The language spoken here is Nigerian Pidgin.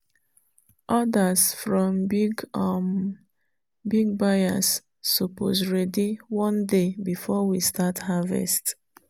orders from big um buyers suppose ready one day before we start harvest.